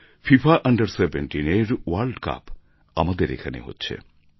FIFA under17 এর World Cup আমাদের এখানে হচ্ছে